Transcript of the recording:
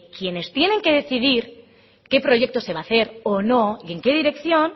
que quienes tienen que decidir qué proyecto se va a hacer o no y en qué dirección